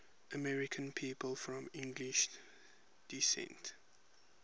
american people of english descent